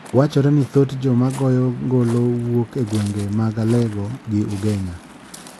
Wachre ni thoth joma goyo ngolo wuok e gwenge mag Alego gi Ugenya